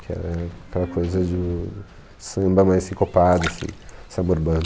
Que era aquela coisa do samba mais sincopado, assim, samba urbano.